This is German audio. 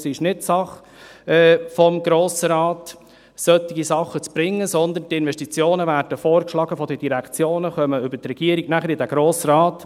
– Es ist nicht Sache des Grossen Rates, solche Dinge einzubringen, sondern die Investitionen werden von den Direktionen vorgeschlagen und gelangen über die Regierung in den Grossen Rat.